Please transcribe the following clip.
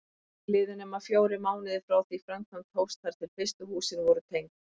Ekki liðu nema fjórir mánuðir frá því framkvæmd hófst þar til fyrstu húsin voru tengd.